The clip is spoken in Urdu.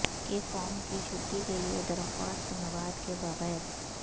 کے فارم کی چھٹی کے لئے درخواست مواد کے بغیر